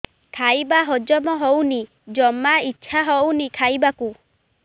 ଖାଇବା ହଜମ ହଉନି ଜମା ଇଛା ହଉନି ଖାଇବାକୁ